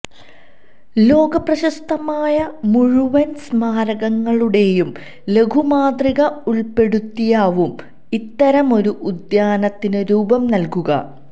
ലോക പ്രശസ്തമായ മുഴുവന് സ്മാരകങ്ങളുടെയും ലഘുമാതൃക ഉള്പെടുത്തിയാവും ഇത്തരം ഒരു ഉദ്യാനത്തിന് രൂപം നല്കുക